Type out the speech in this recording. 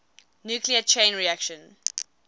nuclear chain reaction